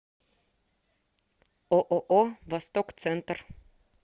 ооо восток центр